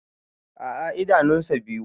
A'a idanun sa biyu.